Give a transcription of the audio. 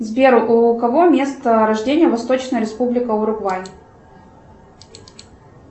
сбер у кого место рождения восточная республика уругвай